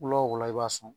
Wula o wula i b'a sɔn